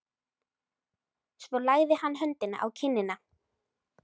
Svo lagði hann höndina á kinnina.